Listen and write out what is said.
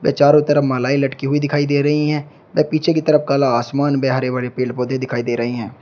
चारों तरफ मालाएं लटकी हुई दिखाई दे रही हैं व पीछे की तरफ काला आसमान व हरे भरे पेड़ पौधे दिखाई दे रहे हैं।